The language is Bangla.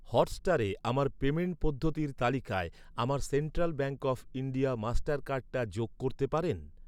হটস্টারে আমার পেমেন্ট পদ্ধতির তালিকায় আমার central bank of India master কার্ডটা যোগ করতে পারেন?